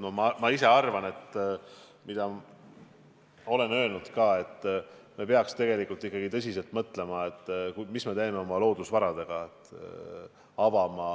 Ma ise arvan ja olen öelnud ka, et me peaks ikkagi tõsiselt mõtlema, mis me teeme oma loodusvaradega, avama